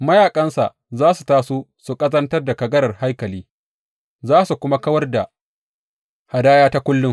Mayaƙansa za su taso su ƙazantar da kagarar haikali za su kuma kawar da hadaya ta kullum.